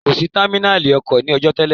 Kò sí támínàlí ọkọ̀ ní ọọ̀jọ́ télè.